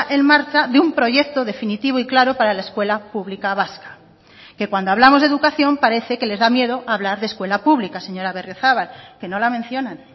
en marcha de un proyecto definitivo y claro para la escuela pública vasca que cuando hablamos de educación parece que les da miedo hablar de escuela pública señora berriozabal que no la mencionan